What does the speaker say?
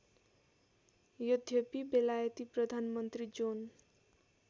यद्यपि बेलायती प्रधानमन्त्री जोन